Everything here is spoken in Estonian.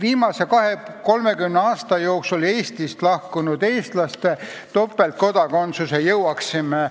Viimase 20–30 aasta jooksul Eestist lahkunud eestlaste õigust topeltkodakondsusele jõuaksime